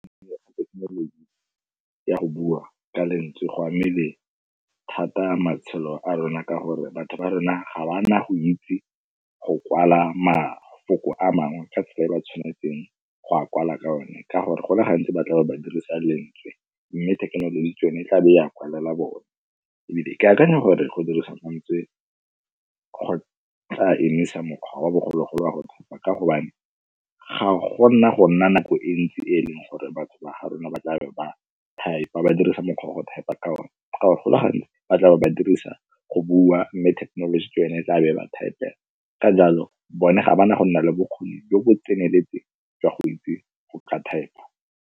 Thekenoloji ya go bua ka lentswe go amile thata matshelo a rona ka gore batho ba rona ga ba na go itse go kwala mafoko a mangwe ka tsela e ba tshwanetseng go a kwala ka one. Ka gore go le gantsi ba tla be ba dirisa lentswe mme thekenoloji ke yone e tla be ya kwalelwa one. Ebile ke akanya gore go dirisa mantswe go tla emisa mokgwa wa bogologolo wa go ba ka gobane ga go nna go nna nako e ntsi e leng gore ba ba ga rona ba tla ba type-a, ba dirisa mokgwa wa go type-a ka one. Ka gore go le gantsi ba tla be ba dirisa go bua mme technology e tlabe ba type-a ka jalo bone ga ba na go nna le bokgoni jo bo tseneletseng jwa go itse go ka type-a.